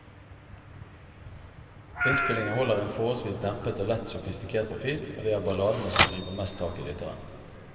Innspillingen holder en forholdsvis dempet og lett sofistikert profil, og det er balladene som griper mest tak i lytteren.